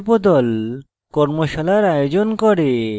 কর্মশালার আয়োজন করে